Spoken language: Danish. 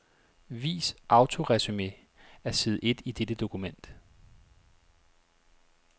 Vis autoresumé af side et i dette dokument.